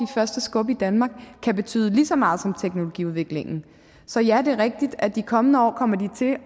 første skub i danmark kan betyde lige så meget som teknologiudviklingen så ja det er rigtigt at i de kommende år kommer de til